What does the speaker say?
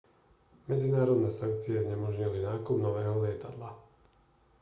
medzinárodné sankcie znemožnili nákup nového lietadla